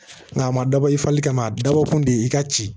Nka a ma dabɔ i fali kama a dabɔ kun de ye i ka ci